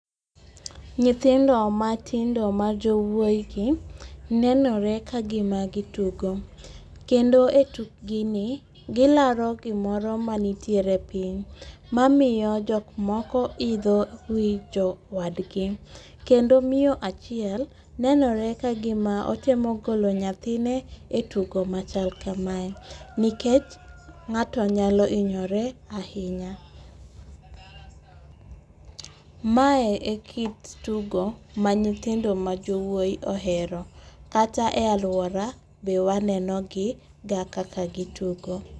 Nyithindo matindo ma jowuoyigi nenore ka gima gitugo, kendo etukgini, gilaro gimoro manitiere piny mamiyo jok moko idho wi jowadgi, kendo miyo achiel nenore ka gima otemo golo nyathine e tugo machal kamae, nikech ng'ato nyalo hinyore ahinya. Mae e kit tugo ma nyithindo majowuoyi ohero, kata e alwora be wanenogi ga kaka gitugo.